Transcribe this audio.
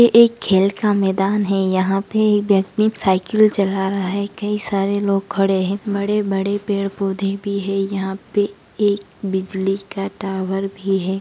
ये एक खेल का मैदान है यहां पे एक व्यक्ति साइकिल चला रहा है कई सारे लोग खड़े हैं बड़े-बड़े पेड़-पौधे भी है यहां पे एक बिजली का टावर भी है।